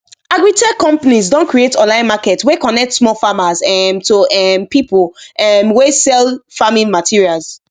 agritech companies don create online market wey connect small farmers um to um people um wey sell farming materials